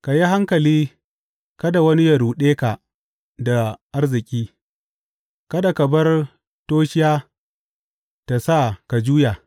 Ka yi hankali kada wani yă ruɗe ka da arziki; kada ka bar toshiya ta sa ka juya.